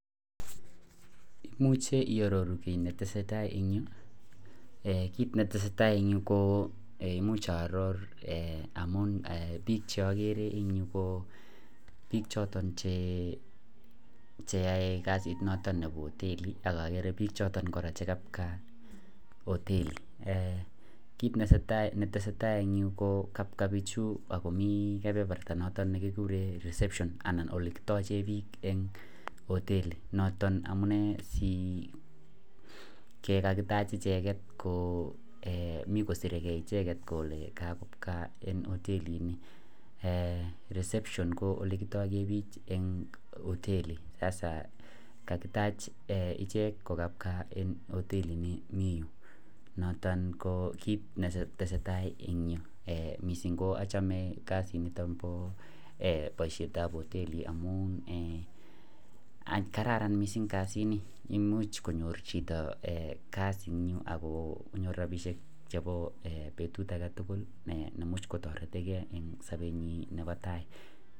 kit netesetai en yuu koo imuch aroor amun bikk cheogere en yu ko biik chhotn cheyoe kasit noton nebo hoteli ak ogere choton biik chegabwa otelo, kiit netesetai en yuu ko kabwa bichu ak komiii kebeberta noton negikuren reception anan olekitochen biik en hoteli elekakitah icheget, mi kosiregee icheget kole kabwa otelini, eeh rexception ko olekitogen biik en oteli, kagitach ichek kogabwa en oelini ni mii yuu, ko noton kiit netesetai en yuu, mising ko ochome kasit ab oteli amuun kararan mising kasini, imuch konyoor chito kasiit ago konyoor rabishek agonyoor rabishek chebo betut agetugul nemuch kotoretengee en sobenyin nebo tai.